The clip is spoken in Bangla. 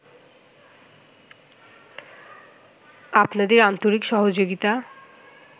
আপনাদের আন্তরিক সহযোগিতা